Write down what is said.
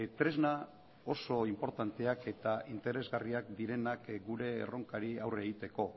tresna oso inportanteak eta interesgarriak direnak gure erronkari aurre egiteko